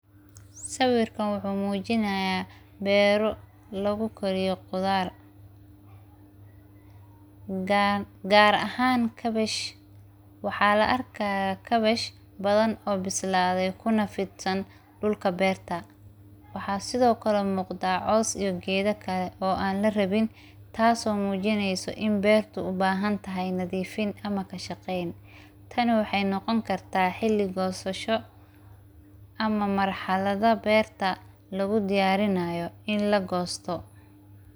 sawiirkan wuxuu muujinayaa beeru lagu koriyo qudaar. Gaar ahaan, kabash waxaa la arkay kabash badan oo bisiladay kuna fidsan dhulka beerta. Waxaa sidoo kale muuqdaa coos iyo geedo kale oo aan la rabin taasoo muujinayso in beertu u baahan tahay nadiifin ama ka shaqeyn. Tani waxay noqon kartaa xilli goosasho ama marxalada beerta lagu diyaarinayo in la goosto.